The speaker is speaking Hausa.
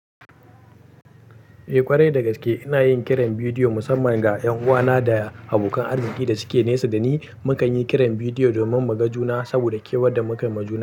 Eh ƙwarai dagaske, inayin kiran bidiyo musamman ga ƴanuwana da abokan arziki da suke nesa dani. Mukan yi kiran bidiyo domin muga juna saboda kewan da muka muju.